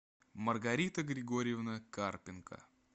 маргарита григорьевна карпенко